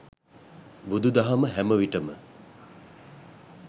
බුදුදහම හැමවිට ම